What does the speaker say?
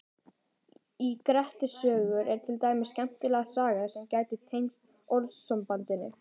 Í Grettis sögu er til dæmis skemmtileg saga sem gæti tengst orðasambandinu.